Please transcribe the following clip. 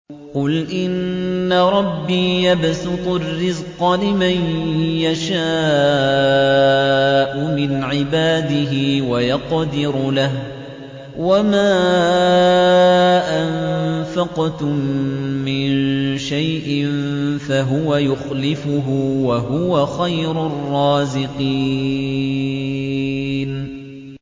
قُلْ إِنَّ رَبِّي يَبْسُطُ الرِّزْقَ لِمَن يَشَاءُ مِنْ عِبَادِهِ وَيَقْدِرُ لَهُ ۚ وَمَا أَنفَقْتُم مِّن شَيْءٍ فَهُوَ يُخْلِفُهُ ۖ وَهُوَ خَيْرُ الرَّازِقِينَ